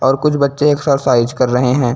और कुछ बच्चे एक्सरसाइज कर रहे है।